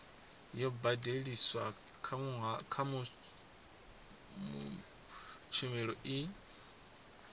yo badeliswaho kha tshumelo i